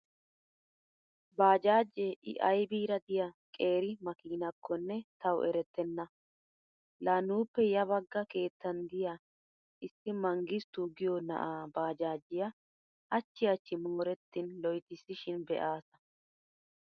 Baajaajee i aybiira diya qeeri makiinakkonne tawu erettenna. La nuuppe ya bagga keettan diya issi Mangistu giyo na'aa baajajiya hachchi hachchi moorettin loytissishin be'aasa.